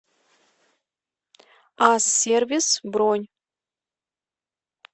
ас сервис бронь